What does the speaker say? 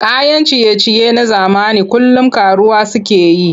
Kayan ciye-ciye na zamani kullum ƙaruwa suke yi.